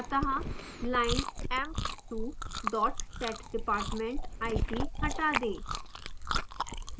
अत: line emp2 setdepartment it; हटा दें